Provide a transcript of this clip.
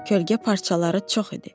Kölgə parçaları çox idi.